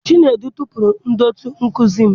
Chinedu tụpụrụ ndetu nkuzi m.